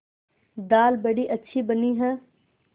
दाल बड़ी अच्छी बनी है